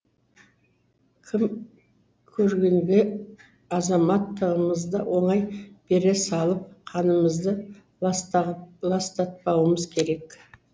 кім көрінгенге азаматтығымызды оңай бере салып қанымызды ластатпауымыз керек